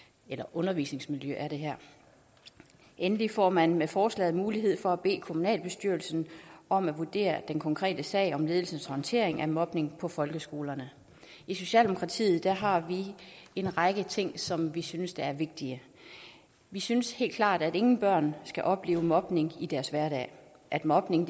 undervisningsmiljø endelig får man med forslaget mulighed for at bede kommunalbestyrelsen om at vurdere den konkrete sag om ledelsens håndtering af mobning på folkeskolerne i socialdemokratiet har vi en række ting som vi synes er vigtige vi synes helt klart at ingen børn skal opleve mobning i deres hverdag at mobning